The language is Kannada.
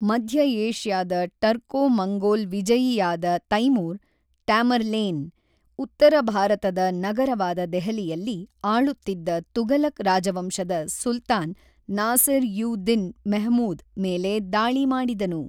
ಮಧ್ಯ ಏಷ್ಯಾದ ಟರ್ಕೋ-ಮಂಗೋಲ್ ವಿಜಯಿಯಾದ ತೈಮೂರ್ (ಟ್ಯಾಮರ್ಲೇನ್), ಉತ್ತರ ಭಾರತದ ನಗರವಾದ ದೆಹಲಿಯಲ್ಲಿ ಆಳುತ್ತಿದ್ದ ತುಘಲಕ್ ರಾಜವಂಶದ ಸುಲ್ತಾನ್ ನಾಸಿರ್-ಯು ದಿನ್ ಮೆಹಮೂದ್ ಮೇಲೆ ದಾಳಿ ಮಾಡಿದನು.